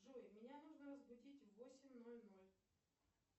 джой меня нужно разбудить в восемь ноль ноль